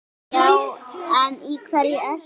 Já en í hverju ertu?